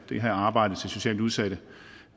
det her arbejde for socialt udsatte